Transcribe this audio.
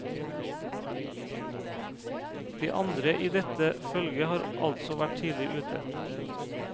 De andre i dette følget har altså vært tidlig ute.